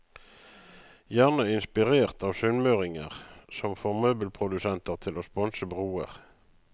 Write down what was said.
Gjerne inspirert av sunnmøringer, som får møbelprodusenter til å sponse broer.